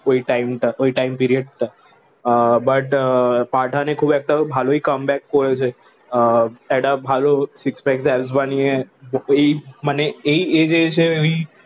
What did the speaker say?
ওই টাইম তা ওই টাইম পিরিয়ড টা আহ বাট পাঠান এ খুব একটা ভালোই কমে ব্যাক করেছে আহ একটা ভালো সিক্স প্যাক আব বানিয়ে ওই মানে এই এজে এসে ওই